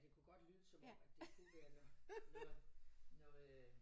Ja det kunne godt lyde som om at de uvenner når når øh